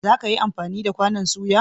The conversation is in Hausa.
Za ka yi amfani da kwanon soya?